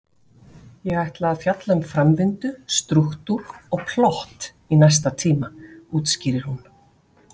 Ég ætla að fjalla um framvindu, strúktúr og plott í næsta tíma, útskýrir hún.